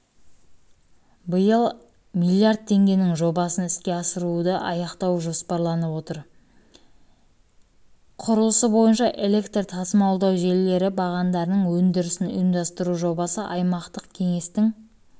биыл аясында миллиард теңгенің жобасын іске асыруды аяқтау жоспарланып отыр құрылысы бойынша электр тасымалдау желілері бағандарының өндірісін ұйымдастыру жобасы аймақтық кеңестің